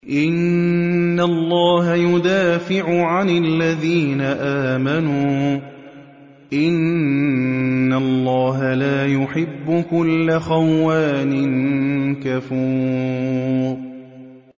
۞ إِنَّ اللَّهَ يُدَافِعُ عَنِ الَّذِينَ آمَنُوا ۗ إِنَّ اللَّهَ لَا يُحِبُّ كُلَّ خَوَّانٍ كَفُورٍ